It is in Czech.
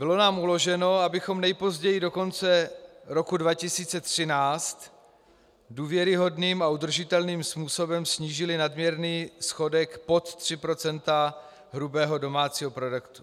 Bylo nám uloženo, abychom nejpozději do konce roku 2013 důvěryhodným a udržitelným způsobem snížili nadměrný schodek pod 3 % hrubého domácího produktu.